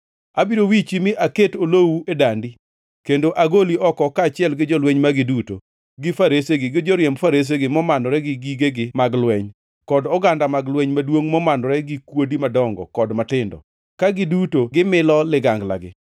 Abiro wichi mi aket olowu e dandi kendo agoli oko kaachiel gi jolweny magi duto, gi faresegi, gi joriemb faresegi momanore gi gigegi mag lweny, kod oganda mag lweny maduongʼ momanore gi kuodi madongo kod matindo, ka giduto gimilo liganglagi.